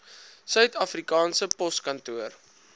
suid afrikaanse poskantoor